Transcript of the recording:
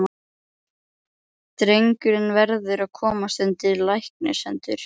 Drengurinn verður að komast undir læknishendur.